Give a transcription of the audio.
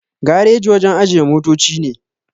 Gareji wajen ajiye motoci ne